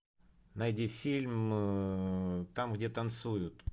найди фильм там где танцуют